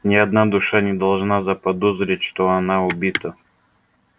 ни одна душа не должна заподозрить что она убита